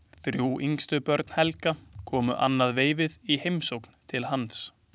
Þrjú yngstu börn Helga komu annað veifið í heimsókn til hans.